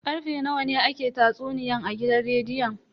Karfe nawa ne ake tatsuniyan a gidan rediyon?